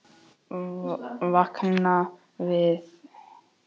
Vakna við það eitt að hún sefur enn.